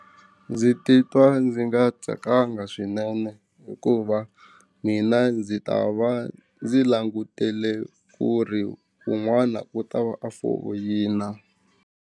Ndzi titwa ndzi nga tsakanga swinene hikuva mina ndzi ta va ndzi langutele ku ri un'wana ku ta va a foyina.